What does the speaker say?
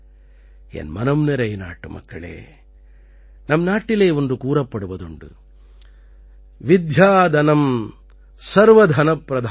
என் மனம் நிறை நாட்டுமக்களே நம் நாட்டிலே ஒன்று கூறப்படுவதுண்டு வித்யாதனம் சர்வதனப்பிரதானம்